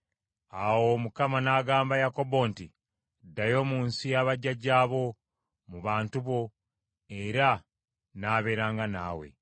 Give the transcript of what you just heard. Awo Mukama n’agamba Yakobo nti, “Ddayo mu nsi ya bajjajjaabo, mu bantu bo, era nnaabeeranga naawe.”